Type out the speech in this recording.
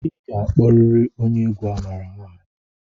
I ga-akpọrịrị onye egwu a maara aha ya!